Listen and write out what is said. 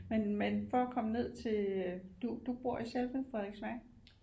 Men men for at komme ned til du bor i selve Frederiksværk